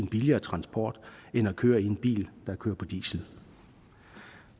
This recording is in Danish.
billigere transportform end at køre i en bil der kører på diesel